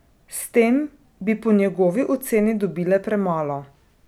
S tem bi po njegovi oceni dobile premalo.